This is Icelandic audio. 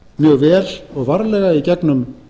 mjög vel og varlega í gegnum